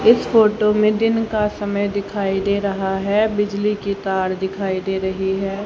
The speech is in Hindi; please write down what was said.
इस फोटो में दिन का समय दिखाई दे रहा है बिजली की तार दिखाई दे रही है।